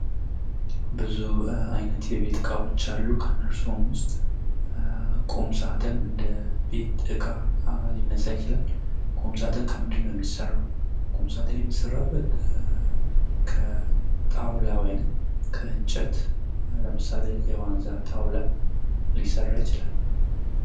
ብዙ አይነት የቤት እቃዎች አሉ። ከእነርሱም ውስጥ ቁም ሳጥን ሊነሳ ይችላል ።ቁምሳጥን ከምንድንነው የሚሰራው? ቁምሳጥን የሚሰራው ከጣውላ ወይም ከእንጨት ነው። ለምሳሌ፡-ከዋንዛ ጣውላ ሊሰራ ይችላል ።